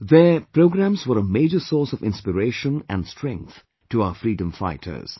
Their programmes were a major source of inspiration & strength to our freedom fighters